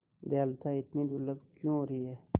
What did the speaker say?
दयालुता इतनी दुर्लभ क्यों हो रही है